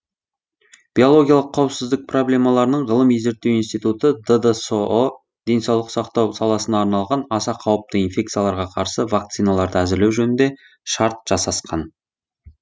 биологиялық қауіпсіздік проблемаларының ғылыми зерттеу институты ддсұ денсаулық сақтау саласына арналған аса қауіпті инфекцияларға қарсы вакциналарды әзірлеу жөнінде шарт жасасқан